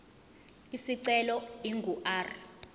isicelo ingu r